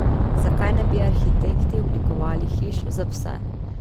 Zakaj ne bi arhitekti oblikovali hiš za pse?